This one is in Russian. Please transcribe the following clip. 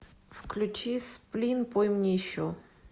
включи сплин пой мне еще